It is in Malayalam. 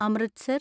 അമൃത്സർ